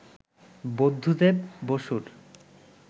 বুদ্ধদেব বসুর